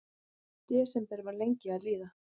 Desember var lengi að líða.